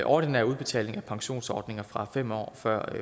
ordinær udbetaling af pensionsordninger fra fem år før